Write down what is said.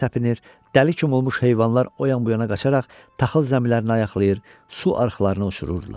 Dəli kim olmuş heyvanlar o yan bu yana qaçaraq taxıl zəmilərini ayaqlayır, su arxalarını uçururdular.